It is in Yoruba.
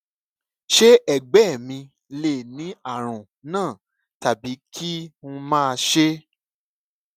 ṣé ẹgbẹ mi lè ní àrùn náà tàbí kí n má ṣe